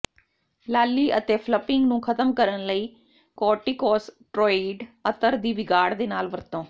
ਲਾਲੀ ਅਤੇ ਫਲੱਪਿੰਗ ਨੂੰ ਖ਼ਤਮ ਕਰਨ ਲਈ ਕੋਰਟੀਕੋਸਟ੍ਰੋਇਡ ਅਤਰ ਦੀ ਵਿਗਾੜ ਦੇ ਨਾਲ ਵਰਤੋਂ